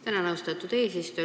Tänan, austatud eesistuja!